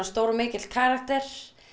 stór og mikill karakter